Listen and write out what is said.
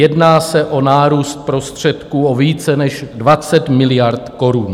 Jedná se o nárůst prostředků o více než 20 miliard korun.